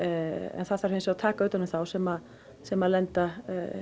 það þarf að taka utan um þá sem sem lenda